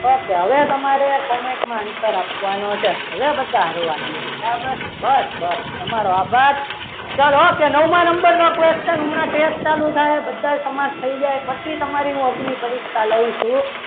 okay હવે તમારે comment માં answer આપવાનો છે હવે બધા હળવા બરાબર બસ બસ તમારો આભાર ચાલો okay નવમા number નો question હમણાં test ચાલુ થશે બધા સમાસ થઈ જાય પછી હું તમારી મૌખિક પરીક્ષા લઉં છું.